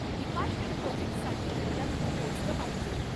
Department प्रोजेक्टसाठी मला तिथं पोचलं पाहिजे.